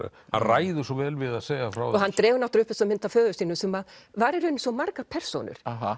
ræður svo vel við að segja frá þessu hann dregur upp þessa mynd af föður sínum sem að var í raun svo margar persónur